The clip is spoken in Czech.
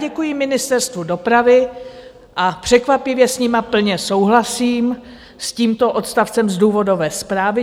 Děkuji Ministerstvu dopravy a překvapivě s nimi plně souhlasím, s tímto odstavcem z důvodové zprávy.